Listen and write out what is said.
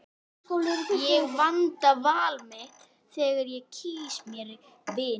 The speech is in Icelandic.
Ég vanda val mitt þegar ég kýs mér vini.